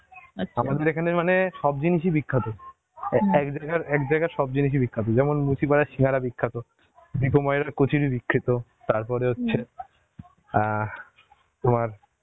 এখানে মানে সব জিনিস ই বিখ্যাত এক্জায়গার সব জিনিস ই বিখ্যাত, দিপু ময়রার কচুরি বিখ্যাত, তারপরে হচ্ছে, আ, তোমার